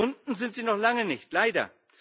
Verschwunden sind sie noch lange nicht leider.